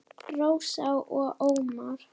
Rósa og Ómar.